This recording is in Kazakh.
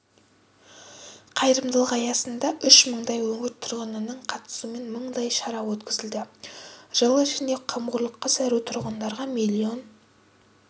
қайырымдылық аясында үш мыңдай өңір тұрғынының қатысуымен мыңдай шара өткізілді жыл ішінде қамқорлыққа зәру тұрғындарға миллион